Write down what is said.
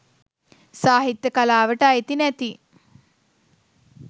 සාහිත්‍ය කලාවට අයිති නැති